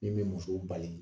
Min bɛ musow bali